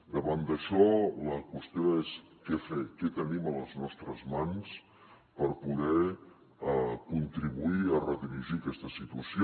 davant d’això la qüestió és què fer què tenim a les nostres mans per poder contribuir a redirigir aquesta situació